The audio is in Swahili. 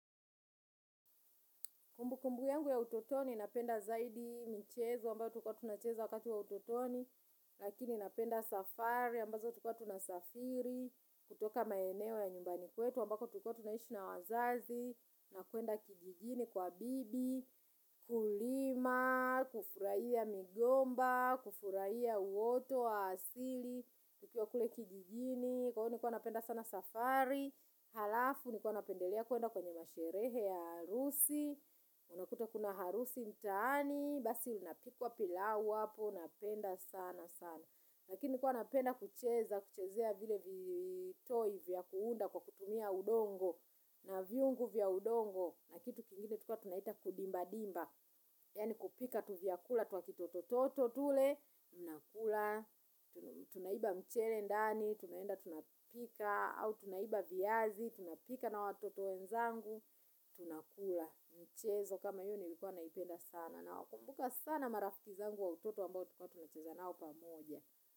Kumbukumbu yangu ya utotoni napenda zaidi michezo, ambayo tulikuwa tunacheza wakati wa utotoni, lakini napenda safari, ambazo tulikua tunasafiri, kutoka maeneo ya nyumbani kwetu, ambako tulikuwa tunaishi na wazazi, na kuenda kijijini kwa bibi, kulima, kufurahia migomba, kufurahia uoto wa asili, tukiwa kule kijijini, kwa hiyo nilikuwa napenda sana safari, halafu nikuwa napendelea kuenda kwenye masherehe ya harusi, unakuta kuna harusi mtaani. Basi unapikwa pilau hapo napenda sana sana. Lakini nilikuwa napenda kucheza kuchezea vile vitoy vya kuunda kwa kutumia udongo na vyungu vya udongo na kitu kingine tulikuwa tunaita kudimba dimba. Yaani kupika tuvyakula. Twa kitoto toto tule. Unakula. Tunaiba mchele ndani. Tunaenda tunapika. Au tunaiba viazi. Tunapika na watoto wenzangu tunakula mchezo kama hiyo nilikuwa naipenda sana nawakumbuka sana marafiki zangu wa utoto ambao tulikuwa tunacheza nao pamoja.